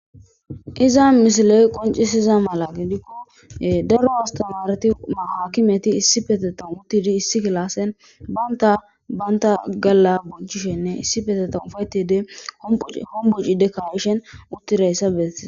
Iza misiley qonccisiza mala gidikko daro asttamaareti aakimeti issipetettan uttidi issi kilaasen bantta bantta galla bonchishenne issipetettan ufayettiidi homboci hombocidi ka7iishe uttidayssa bes.